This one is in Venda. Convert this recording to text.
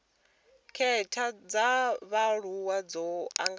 khetha dza vhaaluwa dzo anganelaho